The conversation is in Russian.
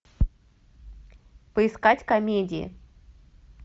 поискать комедии